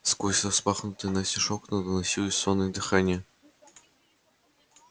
сквозь распахнутые настежь окна доносилось сонное дыхание